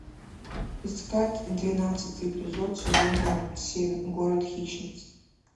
искать двенадцатый эпизод сезона семь город хищниц